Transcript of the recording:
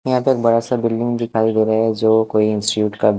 यहाँ पे बड़ा से बिल्डिंगज़ दिखाई दे रहा है जो कोई इंस्टिट्यूट का --